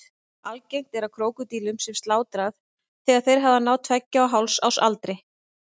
Algengt er að krókódílum sé slátrað þegar þeir hafa náð tveggja og hálfs árs aldri.